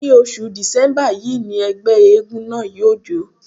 Ní oṣù Dìsẹ́mbà yí ni ẹgbẹ́ éégún náà yóò jó.